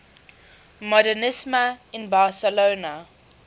modernisme in barcelona